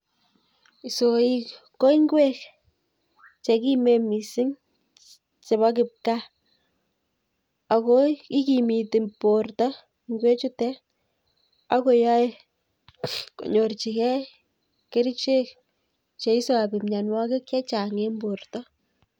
Isoik ko ing'wek chekimen mising chebo kipkaa ak ko ikimiti borto ing'wechutet ak koyoe konyorchike kerichek cheisobi mionwokik chechang en borto.